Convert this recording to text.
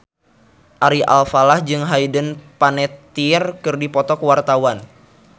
Ari Alfalah jeung Hayden Panettiere keur dipoto ku wartawan